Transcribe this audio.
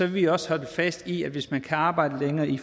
vi også holde fast i at hvis man kan arbejde længere i